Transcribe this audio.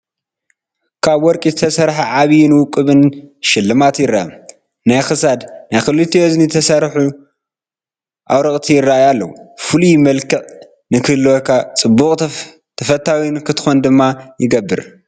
ካብ ወርቂ ዝተሰርሐ ዓቢይን ውቁብን ሽልማት ይርአ። ናይ ክሳድ፣ ናይ ክልቲኡ እዝኒ ዝተሰርሑ ኣውርቕቲ ይራኣዩ ኣለው። ፍሉይ መልክዕ ንኽህልወካ ጽብቕ ተፈታዊ ንኽትኮን ድማ ይገብር።